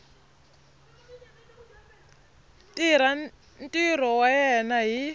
tirha ntirho wa yena hi